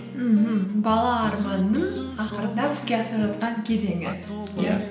мхм бала арманның ақырындап іске асып жатқан кезеңі